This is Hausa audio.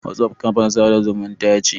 WhatsApp kafar sada zumunta ce.